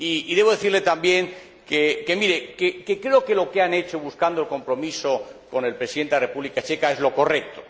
Debo decirle también que creo que lo que han hecho, buscando el compromiso con el Presidente de la República Checa, es lo correcto.